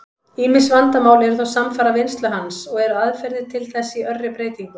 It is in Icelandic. Ýmis vandamál eru þó samfara vinnslu hans, og eru aðferðir til þess í örri breytingu.